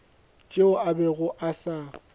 tšeo a bego a sa